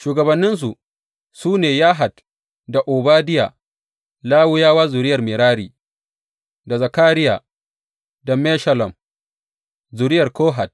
Shugabanninsu, su ne Yahat da Obadiya, Lawiyawa zuriyar Merari da Zakariya da Meshullam, zuriyar Kohat.